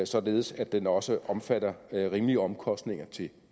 således at den også omfatter rimelige omkostninger